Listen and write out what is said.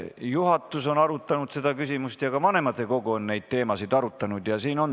Juhatus on seda küsimust arutanud ja ka vanematekogu on neid teemasid arutanud.